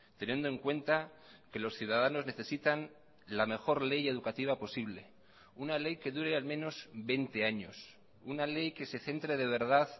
teniendo en cuenta que los ciudadanos necesitan la mejor ley educativa posible una ley que dure al menos veinte años una ley que se centre de verdad